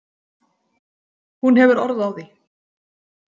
Hún hefur orð á því.